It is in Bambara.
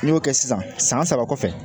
N'i y'o kɛ sisan san saba kɔfɛ